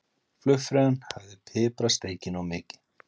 Flugfreyjan hafði piprað steikina of mikið.